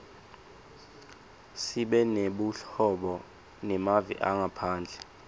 sibe nebuhobo nemave angephandle